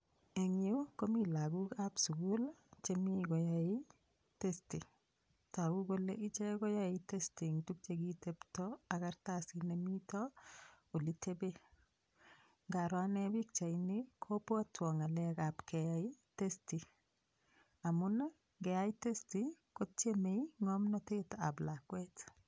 Eng' yu komi lakokab sukul chemi koyoei test toku kole ichek koyoei test eng' tukche kitepto ak karatasit nemito olitepe ngaro ane pikchaini kobwotwo ng'alekab keyai test amun keyai test kotiemei ng'omnotetab lakwet